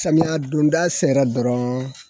Samiyɛ donda sera dɔrɔn